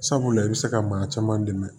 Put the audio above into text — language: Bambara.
Sabula i bɛ se ka maa caman dɛmɛ